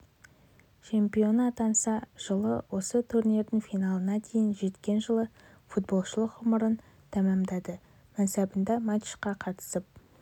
чемпионы атанса жылы осы турнирдің финалына дейін жеткен жылы футболшылық ғұмырын тәмамдады мансабында матчқа қатысып